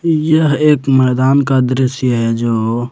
यह एक मैदान का दृश्य है जो--